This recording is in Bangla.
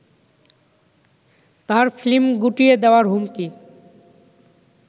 তার ফ্লিম গুটিয়ে দেয়ার হুমকি